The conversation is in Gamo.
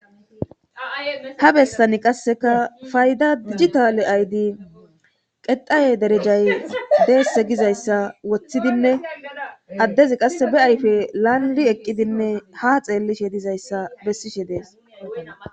ha bessani qasseka fayda dijjitale aydi qeqaye derejay deesse gizayssa woththidinne addezi qasse be ayfe laalli eqqidinne ha xeellishe dizayssa bessishe dees